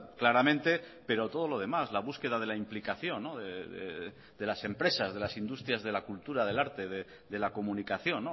claramente pero todo lo demás la búsqueda de la implicación de las empresas de las industrias de la cultura del arte de la comunicación